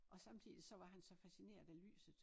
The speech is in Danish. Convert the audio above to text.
Og samtidigt så var han så fascineret af lyset